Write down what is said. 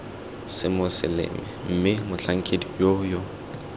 semoseleme mme motlhankedi yoo yo